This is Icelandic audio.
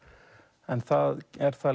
það er það